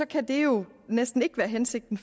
kan det jo næsten ikke været hensigten